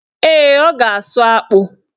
Ee, ọ ga-asụ akpụ.